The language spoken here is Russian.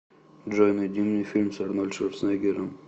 джой найди мне фильм с арнольд шварцнеггером